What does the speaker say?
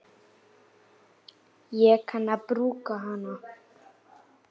Sól og blíða.